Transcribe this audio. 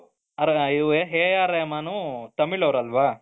ಅವ್ರಿಗುವೆ AR Rahman ತಮಿಳುನವರೂ ಅಲ್ವಾ